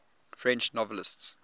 french novelists